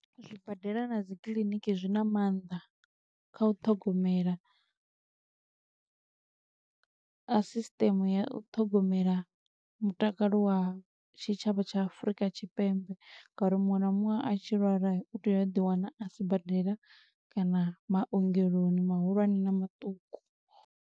Zwibadela na dzi kiḽiniki zwi na maanḓa kha u ṱhogomela a sisiteme ya u ṱhogomela mutakalo wa tshitshavha tsha Afurika Tshipembe. Ngauri muṅwe na muṅwe a tshi lwala, u tea a ḓi wana a sibadela kana maongeloni mahulwane na maṱuku.